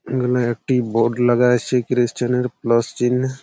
এখানে একটি বোর্ড লাগা আছে খ্রিসচান - এর প্লাস চিহ্ন--